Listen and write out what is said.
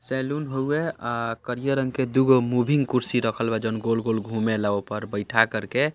Saloon होवे अ करिया रंग के दू गो मूविंग कुर्सी रखल बा जोन गोल-गोल घुमेला ओय पर बैठा करके।